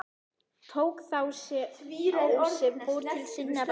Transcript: Tók þá sá sem fór til sinna ráða.